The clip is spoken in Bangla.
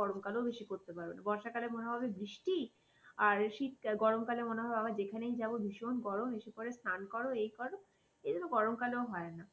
গরমকালেও বেশি করতে পারবে না বর্ষাকালে মনে হবে বৃষ্টি আর শীতকাল গরমকালে মনে হবে আবার যেখানেই যাব ভীষণ গরম বিশেষ করে স্নান করো এই করো সেজন্য গরম কালেও হয় না